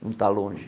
Não está longe.